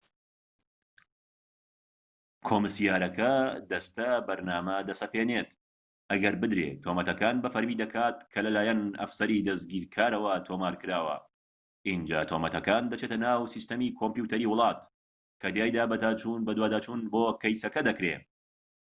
کۆمسیارەکە دەستەبەرنامە دەسەپێنێت ئەگەر بدرێت تۆمەتەکان بە فەرمی دەکات کە لە لایەن ئەفسەری دەستگیرکارەوە تۆمارکراوە ئینجا تۆمەتەکان دەچێتە ناو سیستەمی کۆمپیۆتەری وڵات کە تیایدا بەدواداچوون بۆ کەیسەکە دەکرێت